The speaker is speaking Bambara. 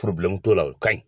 t'o la o ka ɲi.